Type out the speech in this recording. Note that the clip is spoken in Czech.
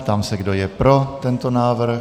Ptám se, kdo je pro tento návrh.